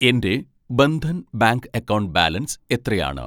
എൻ്റെ Bandhan bank account balance എത്രയാണ്